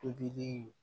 Tobili